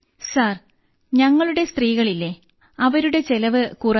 sir ഞങ്ങളുടെ സ്ത്രീകളില്ലേ അവരുടെ ചെലവ് കുറഞ്ഞു